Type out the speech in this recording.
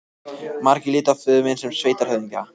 Margir litu á föður minn sem sveitarhöfðingja.